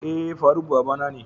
Eh Faruk babana ne.